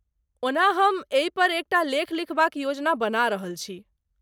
ओना ,हम एहिपर एक टा लेख लिखबाक योजना बना रहल छी।